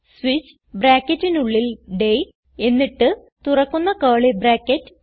switch ബ്രാക്കറ്റിനുള്ളിൽ day എന്നിട്ട് തുറക്കുന്ന കർലി ബ്രാക്കറ്റ്